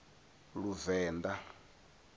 luvenḓa